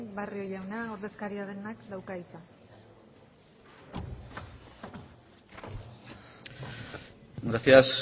barrio jauna ordezkaria denak dauka hitza gracias